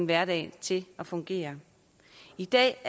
hverdagen til at fungere i dag